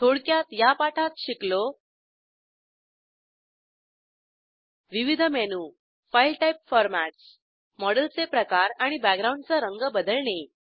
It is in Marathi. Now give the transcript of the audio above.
थोडक्यात या पाठात शिकलो विविध मेनू फाईल टाईप फॉरमॅटस मॉडेलचे प्रकार आणि बॅकग्राऊंडचा रंग बदलणे